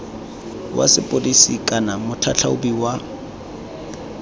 wa sepodisi kana motlhatlhaobi wa